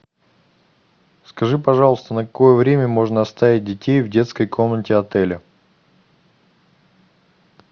скажи пожалуйста на какое время можно оставить детей в детской комнате отеля